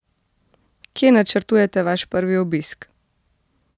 Kje načrtujete vaš prvi obisk?